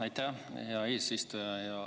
Aitäh, hea eesistuja!